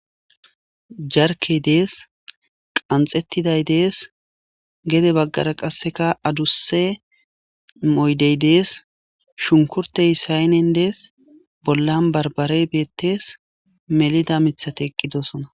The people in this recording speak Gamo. jarkey dees qanxettiday dees gede baggara qasseka adusse moydey dees shunkurtey saynen dees bollan barbare beettees melida mithate eqqidosona